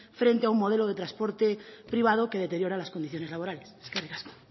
frente a un modelo de transporte privado que deteriora las condiciones laborales eskerrik asko